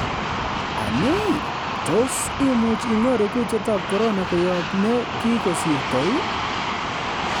Anii, tos imuch inyoru kutiet ab Korona koyob ne kigosirto iih?